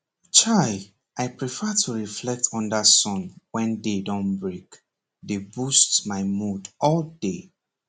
chai i prefer to reflect under sun wen day don break dey boost my mood all day